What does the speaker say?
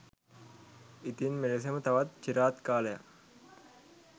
ඉතින් මෙලෙසම තවත් චිරාත් කාලයක්